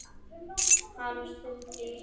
Hann stundi í hljóði.